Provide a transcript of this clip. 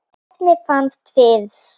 efnið fannst fyrst.